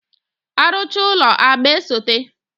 After building, painting follows